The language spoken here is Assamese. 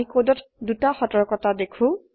আমি কোডত দুটি সতর্কতা দেখো